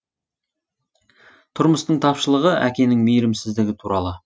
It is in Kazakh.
тұрмыстың тапшылығы әкенің мейірімсіздігі туралы